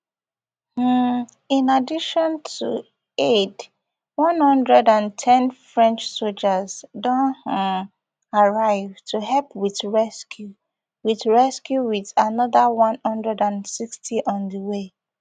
um in addition to aid one hundred and ten french sojas don um arrive to help wit rescue wit rescue wit anoda one hundred and sixty on di way